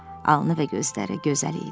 Alnı və gözləri gözəl idi.